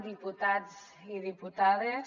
diputats i diputades